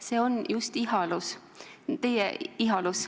See on just see teie ihalus.